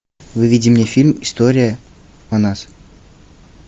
выведи мне фильм история о нас